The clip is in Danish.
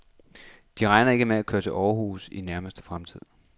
De regner ikke med at køre til Århus i nærmeste fremtid.